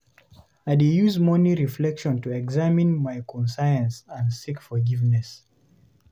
I dey use morning reflection to examine my conscience and seek forgiveness.